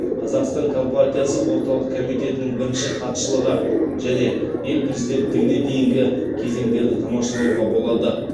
қазақстан компартиясы орталық комитетінің бірінші хатшылығы және ел президенттігіне дейінгі кезеңдерді тамашалауға болады